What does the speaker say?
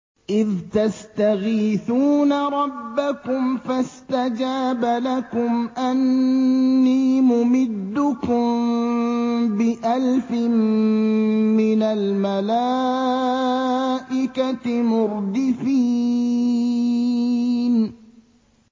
إِذْ تَسْتَغِيثُونَ رَبَّكُمْ فَاسْتَجَابَ لَكُمْ أَنِّي مُمِدُّكُم بِأَلْفٍ مِّنَ الْمَلَائِكَةِ مُرْدِفِينَ